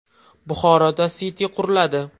Buxoroda Siti quriladi.